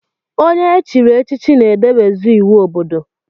Onye echiri echichi na-edebz iwu obodo.